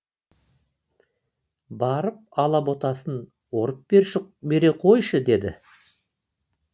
барып алаботасын орып бере қойшы деді